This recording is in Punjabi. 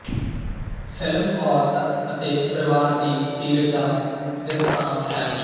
ਫਿਲਮ ਔਰਤ ਅਤੇ ਪਰਿਵਾਰ ਦੀ ਪੀੜ ਦਾ ਬਿਰਤਾਂਤ ਹੈ